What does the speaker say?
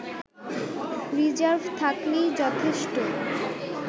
reserve থাকলেই যথেষ্ট